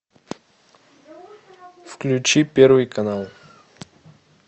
включи первый канал